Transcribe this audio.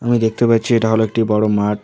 আমি দেখতে পাচ্ছি এটা হল একটি বড় মাঠ।